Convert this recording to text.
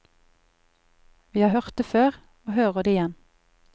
Vi har hørt det før, og hører det igjen.